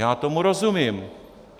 Já tomu rozumím.